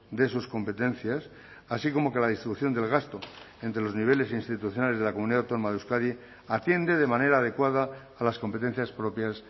de sus competencias así como que la distribución del gasto entre los niveles institucionales de la comunidad autónoma de euskadi atiende de manera adecuada a las competencias propias